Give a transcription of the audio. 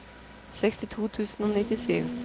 sekstito tusen og nittisju